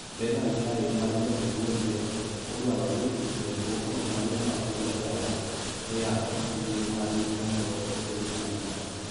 Berhan Taye ,mane jatend Duol ne odwaro ni joriwruogno mane omaki oler oyanga midhiero mane giromo godo ethuolo mane omakgi.